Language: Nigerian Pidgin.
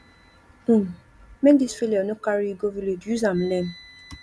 um make dis failure no carry you go village use am learn